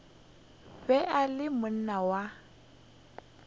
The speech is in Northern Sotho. be e le monna wa